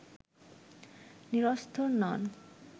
নিরস্ত নন